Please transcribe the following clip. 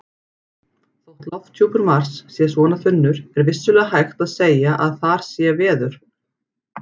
Þótt lofthjúpur Mars sé svona þunnur er vissulega hægt að segja að þar sé veður.